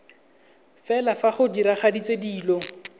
fela fa go diragaditswe dilo